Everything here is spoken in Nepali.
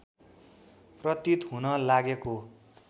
प्रतीत हुन लागेको